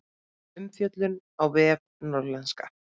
Umfjöllun á vef Norðlenska